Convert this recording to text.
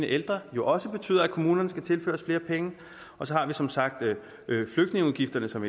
ældre også betyder at kommunerne skal tilføres flere penge og så har vi som sagt flygtningeudgifterne som